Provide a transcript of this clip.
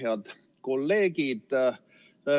Head kolleegid!